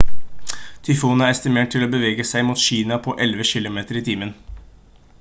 tyfonen er estimert til å bevege seg mot kina på 11 kilometer i timen